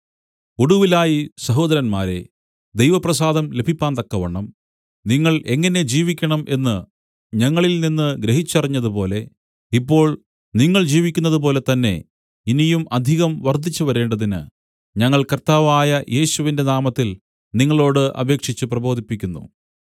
ഒടുവിലായി സഹോദരന്മാരേ ദൈവ പ്രസാദം ലഭിപ്പാന്തക്കവണ്ണം നിങ്ങൾ എങ്ങനെ ജീവിക്കണം എന്നു ഞങ്ങളിൽ നിന്നു ഗ്രഹിച്ചറിഞ്ഞതുപോലെ ഇപ്പോൾ നിങ്ങൾ ജീവിക്കുന്നതുപോലെ തന്നേ ഇനിയും അധികം വർദ്ധിച്ചു വരേണ്ടതിന് ഞങ്ങൾ കർത്താവായ യേശുവിന്റെ നാമത്തിൽ നിങ്ങളോടു അപേക്ഷിച്ചു പ്രബോധിപ്പിക്കുന്നു